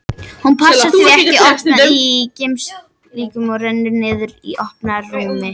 Hún passar því ekki ofan í geymslurýmið og rennur niður í opna rýmið.